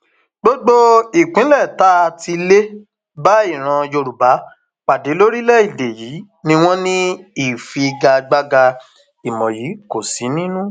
gbogbo ìpínlẹ tá a ti lè bá ìran yorùbá pàdé lórílẹèdè yìí ni wọn ní ìfigagbága ìmọ yìí kó sínú